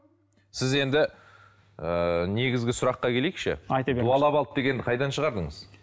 сіз енді ыыы негізгі сұраққа келейікші дуалап алды дегенді қайдан шығардыңыз